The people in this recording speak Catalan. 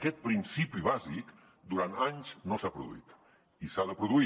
aquest principi bàsic durant anys no s’ha produït i s’ha de produir